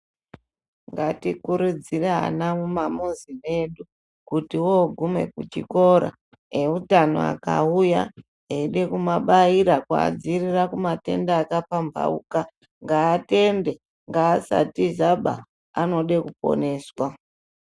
Ngatikurudzire ana mumamuzi edu kuti ogume kuchikora eutano akakuya eida kumabaira kuadziirira kumatenda akapambauka ngaatende ngaasatiza ba anode kuponeswa.